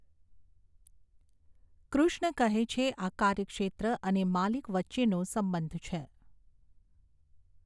કૃષ્ણ કહે છે આ કાર્યક્ષેત્ર અને માલિક વચ્ચેનો સંબંધ છે.